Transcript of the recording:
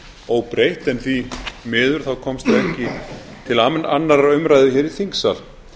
óbreytt en því miður þá komst það ekki til annarrar umræðu hér í þingsal